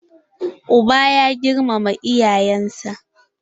Uba ba ya girmama iyayen sa.